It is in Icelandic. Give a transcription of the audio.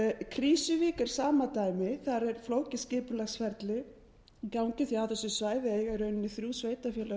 krýsuvík er sama dæmi þar er flókið skipulagsferli í gangi því á þessu svæði eiga í rauninni þrjú sveitarfélög